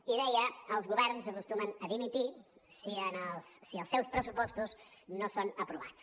i deia els governs acostumen a dimitir si els seus pressupostos no són aprovats